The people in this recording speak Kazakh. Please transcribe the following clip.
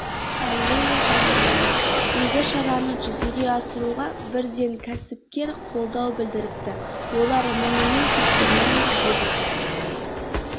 аллея жаңартылды игі шараны жүзеге асыруға бірден кәсіпкер қолдау білдіріпті олар мұнымен шектелмейміз деп отыр